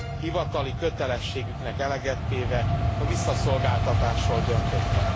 hivatali kötelességüknek eleget téve a visszaszolgáltatásról döntöttek.